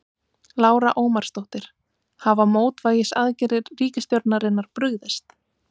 Lára Ómarsdóttir: Hafa mótvægisaðgerðir ríkisstjórnarinnar brugðist?